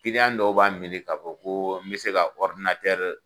dɔw b'a miiri ka fɔ ko n be se ka